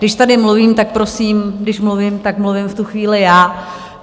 Když tady mluvím, tak prosím, když mluvím, tak mluvím v tu chvíli já.